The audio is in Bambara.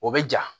O bɛ ja